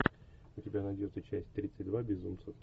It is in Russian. у тебя найдется часть тридцать два безумцы